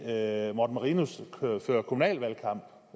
herre morten marinus fører kommunal valgkamp